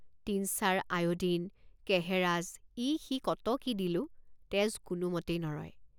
Tincture iodine কেহেৰাজ ইসি কত কি দিলোঁ তেজ কোনোমতেই নৰয়।